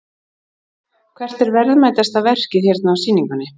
Hvert er verðmætasta verkið hérna á sýningunni?